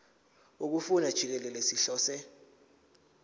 wokufunda jikelele sihlose